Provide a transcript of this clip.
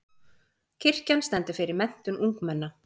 Kirkjan stendur fyrir menntun ungmenna.